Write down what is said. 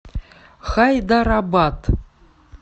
хайдарабад